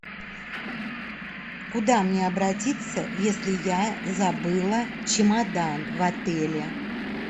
куда мне обратиться если я забыла чемодан в отеле